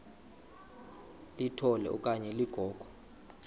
litola okanye ligogo